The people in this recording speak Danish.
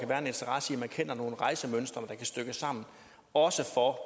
være en interesse i at kende nogle rejsemønstre der kan stykkes sammen også for at